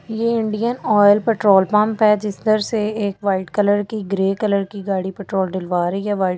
ये Indian Oil petrol pump है जिस तरह से एक वाइट कलर की ग्रे कलर की गाड़ी पेट्रोल डिलवा रही है वाइट --